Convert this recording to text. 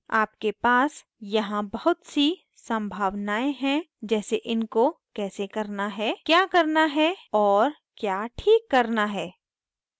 आपके पास यहाँ बहुत सी सम्भावनाएं हैं जैसे इनको कैसे करना है क्या करना है और क्या ठीक करना है